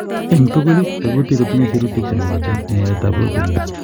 En tugul, tekutik kotinye sirutik chemokotin en yaetab proteins.